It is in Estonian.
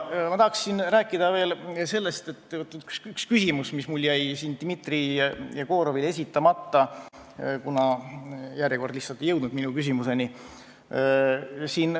Ma tahaksin rääkida veel sellest, et on üks küsimus, mis mul jäi siin Dmitri Jegorovile esitamata, kuna järjekord lihtsalt ei jõudnud minuni.